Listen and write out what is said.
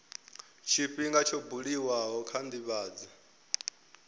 tshifhinga tsho buliwaho kha ndivhadzo